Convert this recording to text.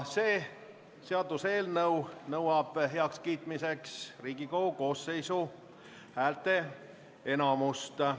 See seaduseelnõu nõuab heakskiitmiseks Riigikogu koosseisu häälteenamust.